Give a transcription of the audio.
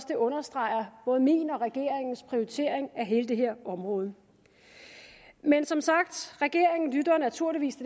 det understreger både min og regeringens prioritering af hele det her område men som sagt regeringen lytter naturligvis